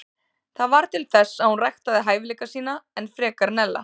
Það varð til þess að hún ræktaði hæfileika sína enn frekar en ella.